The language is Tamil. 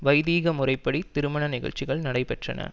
வைதீக முறைப்படி திருமண நிகழ்ச்சிகள் நடைபெற்றன